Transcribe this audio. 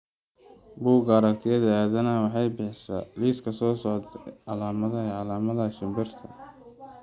Bugga Aragtiyaha Aadanaha waxay bixisaa liiska soo socda ee calaamadaha iyo calaamadaha shimbiraha chaopatiga